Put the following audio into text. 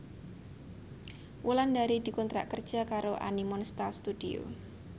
Wulandari dikontrak kerja karo Animonsta Studio